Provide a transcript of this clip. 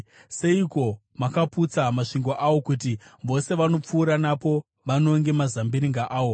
Seiko makaputsa masvingo awo kuti vose vanopfuura napo vanonge mazambiringa awo?